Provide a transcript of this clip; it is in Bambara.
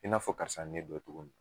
I n'a fɔ karisa ye ne dɔn cogomin na.